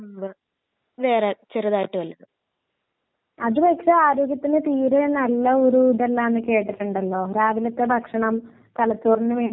അങ്ങനെ ചോദിച്ചാ bakery item എല്ലാം കഴിക്കും പിന്നെ ബറോട്ട ബിരിയാണി ചപ്പാത്തി ചിക്കൻകറി